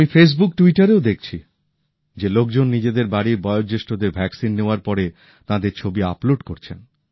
আমি ফেসবুক টুইটারেও দেখছি যে লোকজন নিজেদের বাড়ির বয়োজ্যেষ্ঠদের টিকা নেওয়ার পরে তাঁদের ছবি আপলোড করছেন